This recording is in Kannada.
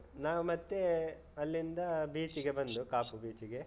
ನಾವ್ ಮತ್ತೇ, ಅಲ್ಲಿಂದ beach ಗೆ ಬಂದು, ಕಾಪು beach ಗೆ.